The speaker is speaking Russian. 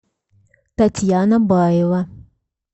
татьяна баева